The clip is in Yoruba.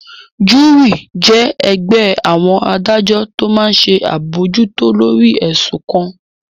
Júúrì jẹ́ ẹgbẹ́ àwọn adájọ́ tó máa n ṣe àbojútó lórí ẹ̀sùn kan